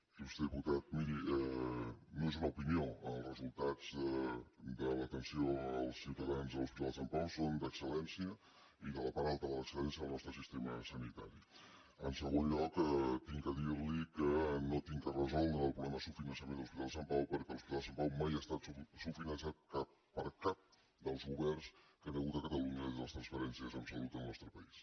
il·lustre diputat miri no és una opinió els resultats de l’atenció als ciutadans a l’hospital de sant pau són d’excel·lència i de la part alta de l’excelgon lloc he de dir·li que no he de resoldre el problema de subfinançament de l’hospital de sant pau perquè l’hospital de sant pau mai no ha estat subfinançat per cap dels governs que hi ha hagut a catalunya des de les transferències en salut al nostre país